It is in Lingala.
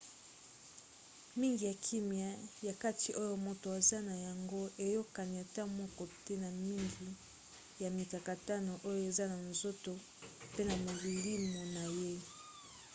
mingi ya kimia ya kati oyo moto aza na yango eyokani ata moke te na mingi ya mikakatano oyo eza na nzoto pe na molimo na ye